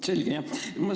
Selge!